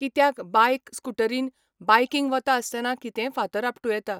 कित्याक बायक स्कुटरीन, बायकींग वता आसतना कितेंय फातर आपटूं येता.